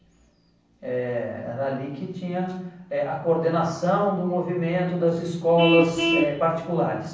Eh era ali que tinha eh a coordenação do movimento das escolas eh particulares.